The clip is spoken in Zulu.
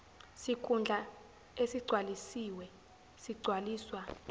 sikhundla esigcwalisiwe sigcwaliswa